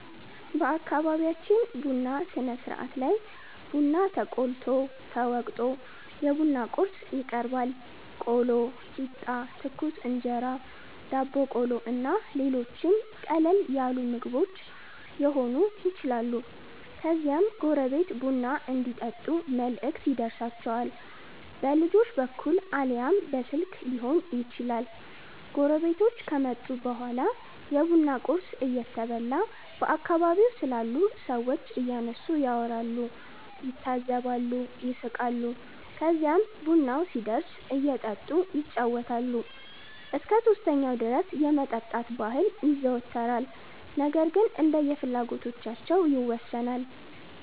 በአከቢቢያችን ቡና ስነስርአት ላይ ቡና ተቆልቶ፣ ተወቅቶ፣ የቡና ቁርስ ይቀርባል(ቆሎ፣ ቂጣ፣ ትኩስ እንጀራ፣ ዳቦ ቆሎ እና ሌሎችም ቀለል ያሉ ምግቦች የሆኑ ይችላሉ) ከዚያም ጎረቤት ቡና እንዲጠጡ መልእክት ይደርሣቸዋል። በልጆች በኩል አልያም በስልክ ሊሆን ይችላል። ጎረቤቶቹ ከመጡ በኋላ የቡና ቁርስ እየተበላ በአከባቢው ስላሉ ሠዎች እያነሱ ያወራሉ፣ ይታዘባሉ፣ ይስቃሉ። ከዚህም ቡናው ሲደርስ እየጠጡ ይጫወታሉ። እስከ 3ኛው ድረስ የመጠጣት ባህል ይዘወተራል ነገር ግን እንደየፍላጎታቸው ይወሠናል።